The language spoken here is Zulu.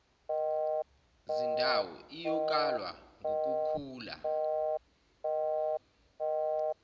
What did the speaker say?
zindawo iyokalwa ngukukhula